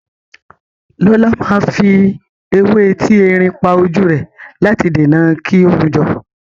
Lọlá máa fi ewé etí erin pa ojú rẹ̀ láti dènà kí ó hun jọ.